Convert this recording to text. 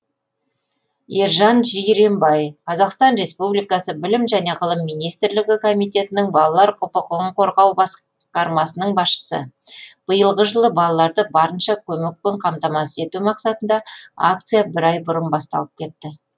ержан жиренбай қазақстан республикасы білім және ғылым министрлігі комитетінің балалар құқығын қорғау басқармасының басшысы биылғы жылы балаларды барынша көмекпен қамтамасыз ету мақсатында акция бір ай бұрын басталып кетті